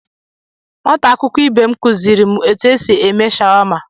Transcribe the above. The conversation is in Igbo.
Nwata akwụkwọ ibe mụ kuziri mụ etu esị eme shawama.